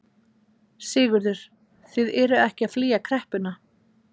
Sigurður: Þið eruð ekki að flýja kreppuna?